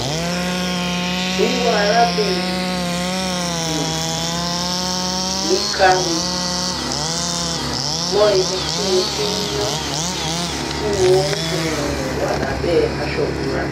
wíwá arábìnrin um mi ká mi mọ́ ibi tí mo ti ń yán tí mo um wà lábẹ́ aṣọ ìbora